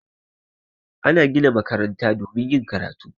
Ana gina makaranta domin yin karatu